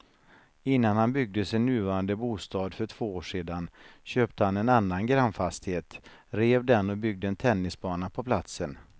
Innan han byggde sin nuvarande bostad för två år sedan köpte han en annan grannfastighet, rev den och byggde en tennisbana på platsen.